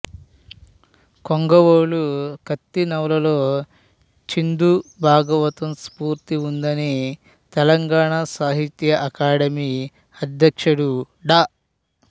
కొంగవాలు కత్తి నవలలో చిందు భాగవతం స్ఫూర్తి ఉందని తెలంగాణ సాహిత్య అకాడమీ అధ్యక్షుడు డా